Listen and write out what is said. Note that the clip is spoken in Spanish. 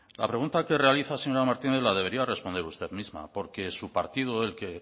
la pregunta que realiza señora martínez la debería responder usted misma porque su partido